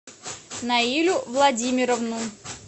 наилю владимировну